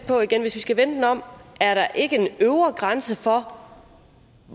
igen hvis vi skal vende den om er der ikke en øvre grænse for